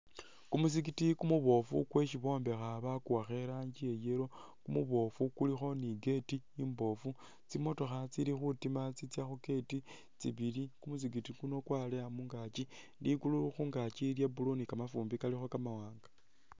Ku muzikiti kumubofu kwesi bombekha bakuwakha i rangi iya yellow, kumubofu kulikho ni gate imbofu, tsimotokha tsili khutima tsitsya khu gate tsibili ku muzikiti kuno kwaleya mungakyi, ligulu khungaki lya blue ni kamafumbi kalikho kama wanga.